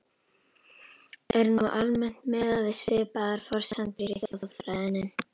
Er nú almennt miðað við svipaðar forsendur í þjóðfræðinni.